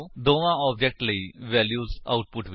ਦੋਵਾਂ ਆਬਜੇਕਟਸ ਲਈ values output ਵਿੱਚ ਦਿਖਾਓ